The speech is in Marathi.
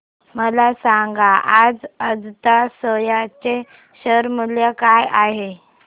मला सांगा आज अजंता सोया चे शेअर मूल्य काय आहे